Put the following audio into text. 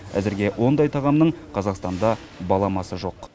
әзірге ондай тағамның қазақстанда баламасы жоқ